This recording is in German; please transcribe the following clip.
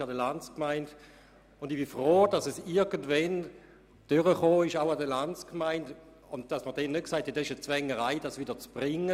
Ich bin froh, dass dies dann irgendwann auch an der Landsgemeinde durchgekommen ist und man nicht gesagt hat, das sei eine Zwängerei.